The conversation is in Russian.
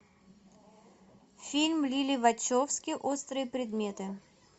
фильм лилли вачовски острые предметы